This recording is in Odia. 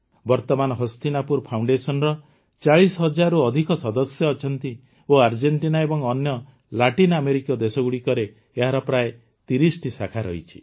ବର୍ତ୍ତମାନ ହସ୍ତିନାପୁର ଫାଉଣ୍ଡେସନର ୪୦ ହଜାରରୁ ଅଧିକ ସଦସ୍ୟ ଅଛନ୍ତି ଓ ଆର୍ଜେଂଟିନା ଏବଂ ଅନ୍ୟ ଲାଟିନ ଆମେରିକୀୟ ଦେଶଗୁଡ଼ିକରେ ଏହାର ପ୍ରାୟ ୩୦ଟି ଶାଖା ରହିଛି